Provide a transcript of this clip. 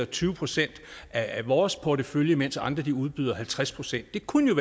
tyve procent af vores portefølje mens andre udbyder halvtreds procent det kunne